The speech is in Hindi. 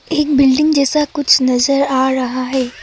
एक बिल्डिंग जैसा कुछ नजर आ रहा है।